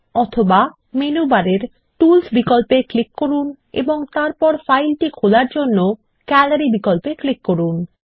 অথবা মেনু বারের টুলস বিকল্পে ক্লিক করুন এবং তারপর ফাইলটি খোলার জন্য গ্যালারি বিকল্পে ক্লিক করুন